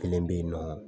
Kelen bɛ yen nɔ